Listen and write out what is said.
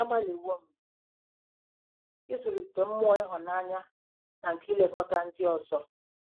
Agbalịwo m ịzụlite mmụọ ịhụnanya na nke ilekọta ndị ọzọ.